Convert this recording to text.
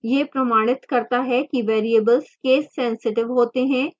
यह प्रमाणित करता है कि variables casesensitive होते हैं